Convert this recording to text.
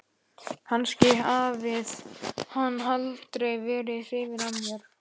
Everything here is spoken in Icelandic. Kannski hafði hann aldrei verið hrifinn af mér.